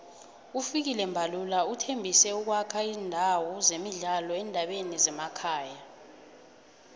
ufikile mbalula uthembise ukuwakha izindawo zemidlalo eendaweni zemakhaya